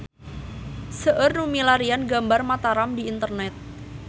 Seueur nu milarian gambar Mataram di internet